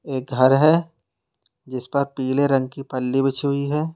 एक घर है जिस पर पीले रंग की पल्ली बिछी हुई है।